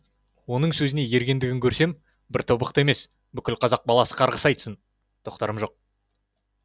оның сөзіне ергенідігін көрсем бір тобықты емес бүкіл қазақ баласы қарғыс айтсын тоқтарым жоқ